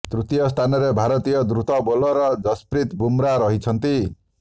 ତୃତୀୟ ସ୍ଥାନରେ ଭାରତୀୟ ଦ୍ରୁତ ବୋଲର ଯଶପ୍ରୀତ ବୁମ୍ରା ରହିଛନ୍ତି